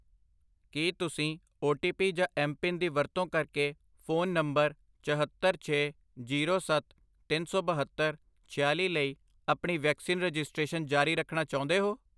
ਕੀ ਤੁਸੀਂ O T P ਜਾਂ M PIN ਦੀ ਵਰਤੋਂ ਕਰਕੇ ਫ਼ੋਨ ਨੰਬਰ ਚਹੱਤਰ, ਛੇ, ਜ਼ੀਰੋ, ਸੱਤ, ਤਿੰਨ ਸੌ ਬਹੱਤਰ, ਛਿਆਲੀ ਲਈ ਆਪਣੀ ਵੈਕਸੀਨ ਰਜਿਸਟ੍ਰੇਸ਼ਨ ਜਾਰੀ ਰੱਖਣਾ ਚਾਹੁੰਦੇ ਹੋ?